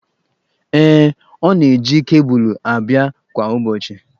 Ee, ọ na-eji kebụlụ abịa kwa ụbọchị.